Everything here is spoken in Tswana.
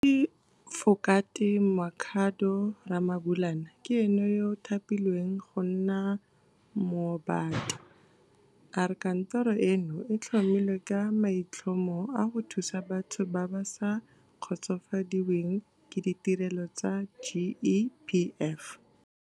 Moatefokate Makhado Ramabulana ke ene yo a thapilweng go nna Moombata. A re kantoro eno e tlhomilwe ka maitlhomo a go thusa batho ba ba sa kgotsofadiweng ke ditirelo tsa GEPF.